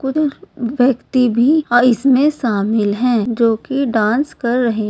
कुछ व्यक्ति भी इसमें शामिल है जोकि डांस कर रहे--